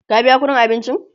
ka biya ƙuɗin abincin!